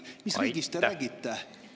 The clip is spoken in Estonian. Mis riigist te räägite?